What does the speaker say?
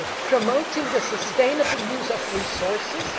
promoting the sustainable use of resources